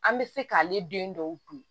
An bɛ se k'ale den dɔw dun